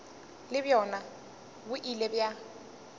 le bjona bo ile bja